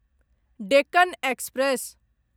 Deccan express